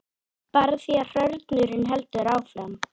Bara því að hrörnunin heldur áfram.